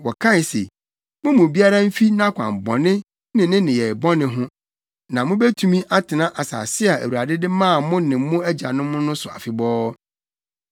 Wɔkae se, “Mo mu biara mfi nʼakwan bɔne ne ne nneyɛe bɔne ho, na mubetumi atena asase a Awurade de maa mo ne mo agyanom no so afebɔɔ.